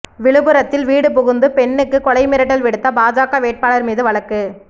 விழுப்புரத்தில் வீடு புகுந்து பெண்ணுக்கு கொலை மிரட்டல் விடுத்த பாஜக வேட்பாளர் மீது வழக்கு